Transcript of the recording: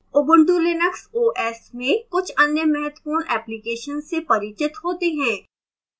ubuntu linux os में कुछ अन्य महत्वपूर्ण applications से परिचित होते हैं